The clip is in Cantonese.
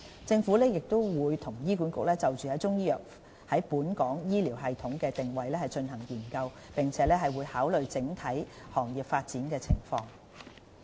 政府亦與醫管局就中醫藥在本港醫療系統的定位進行研究，並會考慮整體行業發展的情況。